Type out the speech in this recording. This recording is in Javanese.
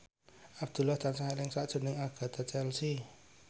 Abdullah tansah eling sakjroning Agatha Chelsea